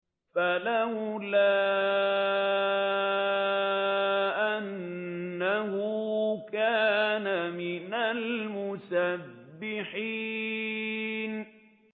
فَلَوْلَا أَنَّهُ كَانَ مِنَ الْمُسَبِّحِينَ